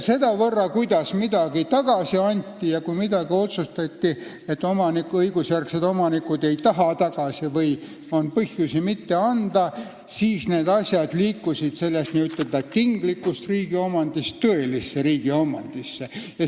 Sedamööda, kuidas käis tagasiandmine ja kui millegi suhtes otsustati, et õigusjärgsed omanikud ei taha midagi tagasi või on põhjust mitte tagasi anda, siis liikusid need varad n-ö tinglikust riigi omandist tõelisesse riigi omandisse.